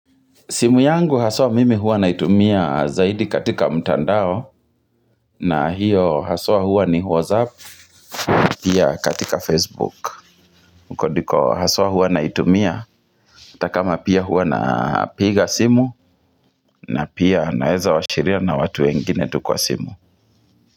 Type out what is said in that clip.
Simu yangu haswa mimi huwa naitumia zaidi katika mtaandao na hiyo haswa huwa ni whatsapp pia katika facebook. Huko ndiko haswa huwa naitumia hata kama pia huwa na piga simu na pia naeza washiria na watu wengine tu kwa simu.